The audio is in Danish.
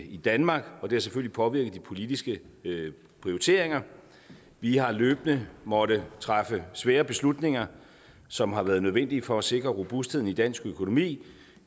i danmark og det har selvfølgelig påvirket de politiske prioriteringer vi har løbende måttet træffe svære beslutninger som har været nødvendige for at sikre robustheden i dansk økonomi vi